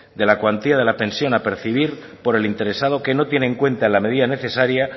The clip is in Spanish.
de la cuantía de la pensión a percibir por el interesado que no tiene en cuenta en la medida necesaria